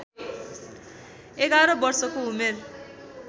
११ वर्षको उमेर